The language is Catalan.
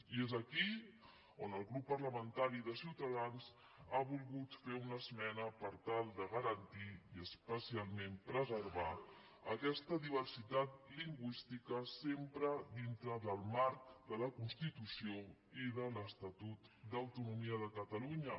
i és aquí on el grup parlamentari de ciutadans ha volgut fer una esmena per tal de garantir i especialment preservar aquesta diversitat lingüística sempre dintre del marc de la constitució i de l’estatut d’autonomia de catalunya